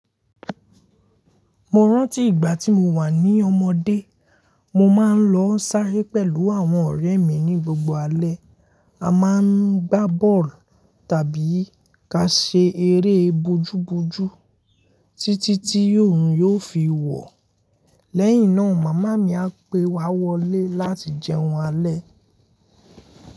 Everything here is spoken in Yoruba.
Mo rántí ìgbà tí mo wà ní ọmọdé, mo máa ń lọ ń sáré pẹ̀lú àwọn ọ̀rẹ́ mi ní gbogbo alẹ́. A máa ń gbá bọ́ọ̀lù tàbí ka ṣe eré bojúbojú títí tí òórùn yóò fi wọ̀. Lẹ́yìn náà, màmá mi á pe wa wọlé láti jẹun alẹ́.